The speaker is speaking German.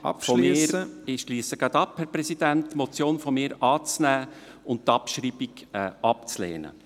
Ich komme gleich zum Schluss, Herr Präsident. ... meine Motion anzunehmen und die Abschreibung abzulehnen.